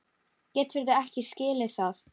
Geturðu ekki skilið það?